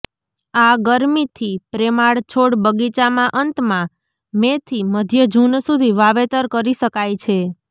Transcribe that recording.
આ ગરમીથી પ્રેમાળ છોડ બગીચામાં અંતમાં મેથી મધ્ય જૂન સુધી વાવેતર કરી શકાય છે